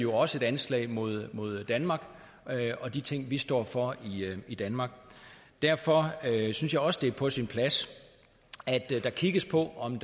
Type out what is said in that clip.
også et anslag mod mod danmark og de ting vi står for i danmark derfor synes jeg også det er på sin plads at der kigges på om